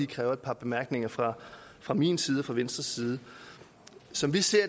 kræver et par bemærkninger fra fra min side og fra venstres side som vi ser